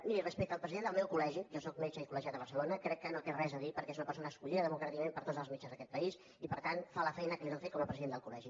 miri respecte al president del meu col·legi jo sóc metge i coldir perquè és una persona escollida democràticament per tots els metges d’aquest país i per tant fa la feina que li toca fer com a president del col·legi